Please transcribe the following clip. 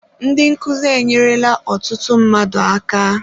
Ndị nkuzi enyerela ọtụtụ mmadụ aka.